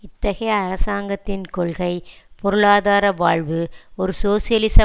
இத்தகைய அரசாங்கத்தின் கொள்கை பொருளாதார வாழ்வு ஒரு சோசியலிச